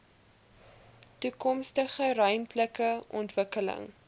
toekomstige ruimtelike ontwikkeling